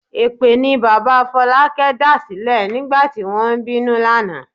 Èpè ni bàbá Fọlákẹ́ dàsílẹ̀ nígbà tí wọ́n ń bínú lánàá.